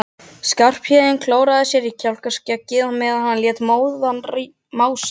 Skarphéðinn klóraði í kjálkaskeggið meðan hún lét móðan mása.